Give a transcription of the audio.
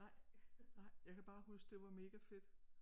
Nej nej jeg kan bare huske det var megafedt